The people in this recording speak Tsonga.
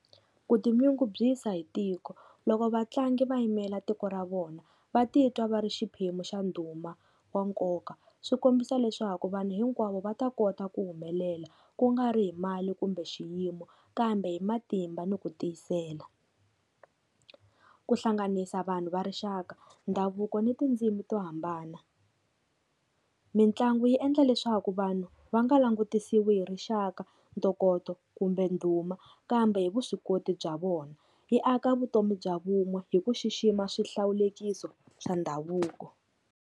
Ku tinyungubyisa hi tiko, loko vatlangi va yimela tiko ra vona va titwa va ri xiphemu xa ndhuma wa nkoka swi kombisa leswaku vanhu hinkwavo va ta kota ku humelela ku nga ri hi mali kumbe xiyimo, kambe hi matimba ni ku tiyisela. Ku hlanganisa vanhu va rixaka, ndhavuko ni tindzimi to hambana. Mitlangu yi endla leswaku vanhu va nga langutisiwi rixaka, ntokoto kumbe ndhuma kambe hi vuswikoti bya vona yi aka vutomi bya vun'we hi ku xixima swihlawulekisi swa ndhavuko.